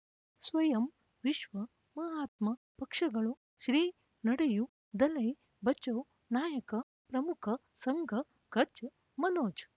ಸ್ವಯಂ ವಿಶ್ವ ಮಹಾತ್ಮ ಪಕ್ಷಗಳು ಶ್ರೀ ನಡೆಯೂ ದಲೈ ಬಚೌ ನಾಯಕ ಪ್ರಮುಖ ಸಂಘ ಕಚ್ ಮನೋಜ್